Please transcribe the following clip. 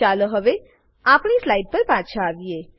ચાલો હવે આપણી સ્લાઈડ પર પાછા આવીએ